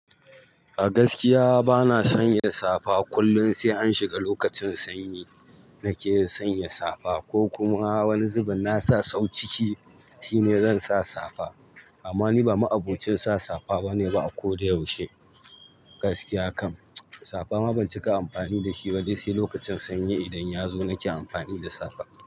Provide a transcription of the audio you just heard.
A gaskiya bana sanya safa kullum, sai an shiga lokacin sanyi nake sanya safa ko kuma wani zubin nasa sau ciki shine zan sa safa. Amma ni ba ma abokin sa safa bane ba a ko da yaushe. Gaskiya kam safa ma ban cika amfani da shi ba dan sai lokacin sanyi idan yazo nake amfani da safa.